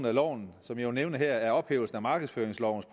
af loven som jeg vil nævne her er ophævelsen af markedsføringslovens